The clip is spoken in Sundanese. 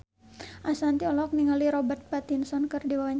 Ashanti olohok ningali Robert Pattinson keur diwawancara